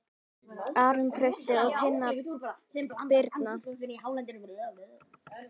Aron Trausti og Tinna Birna.